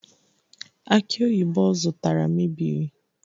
Aki oyibo ọ zụtara mebiri